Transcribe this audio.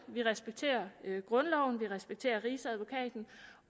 vi respekterer grundloven vi respekterer rigsadvokaten